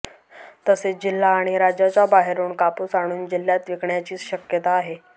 तसेच जिल्हा आणि राज्याच्या बाहेरून कापूस आणून जिल्ह्यात विकण्याची शक्यता आहे